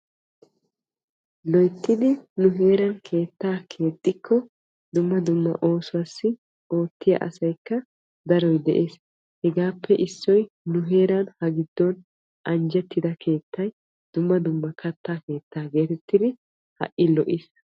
Loyttidi nu heeran keettaa keexxikko dumma dumma oosuwaassi oottiyaa asaykka daroy de'ees. Hegaappe issoy nu heeran ha giddon anjjettida keettay dumma dumma katta keettaa geetettidi ha"i lo"is.